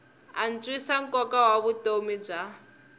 antswisa nkoka wa vutomi bya